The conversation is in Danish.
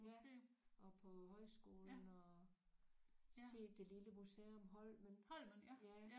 Ja og på højskolen og set det lille museum holmen ja